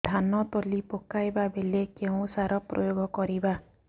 ଧାନ ତଳି ପକାଇବା ବେଳେ କେଉଁ ସାର ପ୍ରୟୋଗ କରିବା